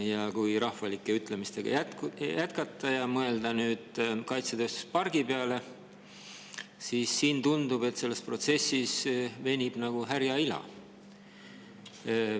Aga kui rahvalike ütlemistega jätkata ja mõelda nüüd kaitsetööstuspargi peale, siis tundub, et see protsess venib nagu härja ila.